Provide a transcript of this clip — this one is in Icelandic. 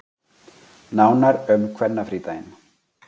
Nánar um kvennafrídaginn